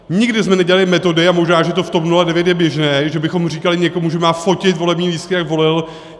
Nikdy jsme nedělali metody - a možná, že to v TOP 09 je běžné - že bychom říkali někomu, že má fotit volební lístky, jak volil.